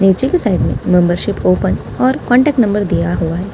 नीचे की साइड में मेंबरशिप ओपन और कांटेक्ट नंबर दिया हुआ है ।